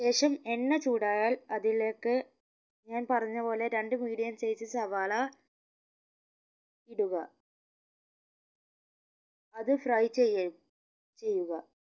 ശേഷം എണ്ണ ചൂടായാൽ അതിലേക്ക് ഞാൻ പറഞ്ഞ പോലെ രണ്ട് medium size സവാള ഇടുക അത് fry ചെയ്യാ ചെയ്യുക